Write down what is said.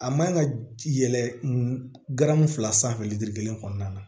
A man ka yɛlɛ garamu fila sanfɛ litiri kelen kɔnɔna na